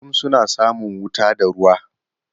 Kullum suna samun wuta da ruwa.